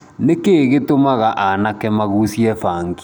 Nĩkĩĩ gĩtũmaga aanake magucie bangi